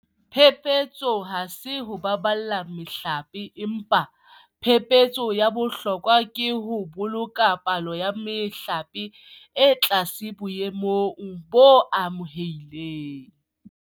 Phephetso ha se ho baballa mehlape, empa phephetso ya bohlokwa ke ho boloka palo ya mehlape e le tlase boemong bo amohelehang.